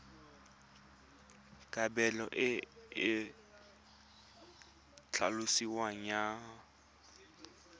kabelo e e tlhaloswang ya